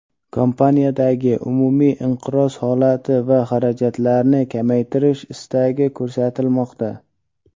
kompaniyadagi umumiy inqiroz holati va xarajatlarni kamaytirish istagi ko‘rsatilmoqda.